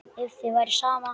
Ef þér væri sama, já.